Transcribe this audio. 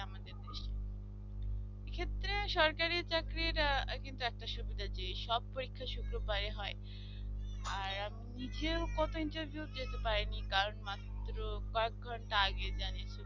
সরকারি চাকরিরা কিন্তু একটা সুবিধা যেসব পরীক্ষা শুক্রবারে হয় আর আমি নিজে ও কত interview যেতে পারিনি কারণ মাত্র পাঁচ ঘন্টা আগে জানিয়ে